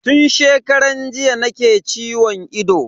Tun shekaran jiya nake ciwon ido.